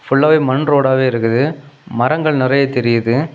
ஃபுல்லாவே மண் ரோடாவே இருக்குதுமரங்கள் நறைய தெரியுது.